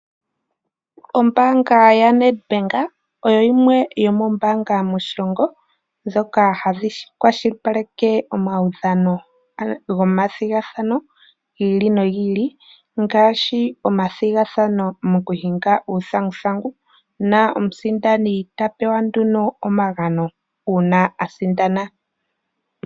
Ombaanga ya Ned bank oyo yimwe yomombaanga moshilongo ndjoka hayi kwashilipaleke omaudhano go mathigathano gi ili no gi ili. Ngaashi omathigathano go kuhinga uuthanguthangu, moka omusindani ta pewa nduno omagano uuna asindana.